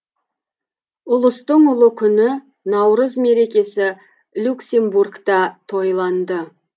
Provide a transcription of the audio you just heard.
ұлыстың ұлы күні наурыз мерекесі люксембургта тойланды